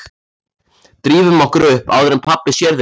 Drífum okkur upp áður en pabbi sér þig hérna